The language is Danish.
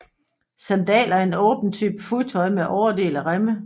Sandaler er en åben type fodtøj med overdel af remme